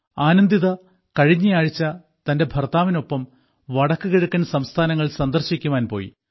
ആനന്ദിത കഴിഞ്ഞയാഴ്ച തന്റെ ഭർത്താവിനൊപ്പം വടക്കുകിഴക്കൻ സംസ്ഥാനങ്ങൾ സന്ദർശിക്കുവാൻ പോയി